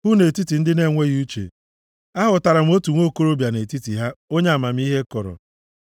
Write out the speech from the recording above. hụ nʼetiti ndị na-enweghị uche, ahụtara m otu nwokorobịa nʼetiti ha, onye amamihe kọrọ,